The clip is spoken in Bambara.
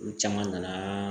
Olu caman nana